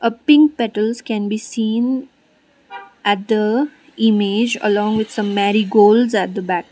ah pink petals can be seen at the image along with some marigolds at the back.